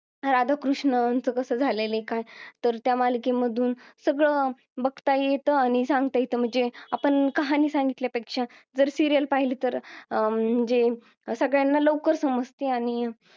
राधाकृष्ण झालेले काय तर त्या मालिकेमधून सगळं बघता येत आणि सांगता येत म्हणजे आपण कहाणी सांगितल्यापेक्षा जर serial पाहिली तर अं म्हणजे सगळ्यांना लवकर समजते आणि